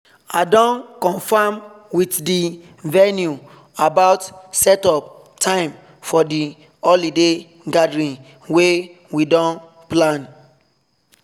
i don confirm with the venue about setup time for the holiday gathering wey we don plan